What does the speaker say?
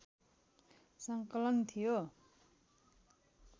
सङ्कलन थियो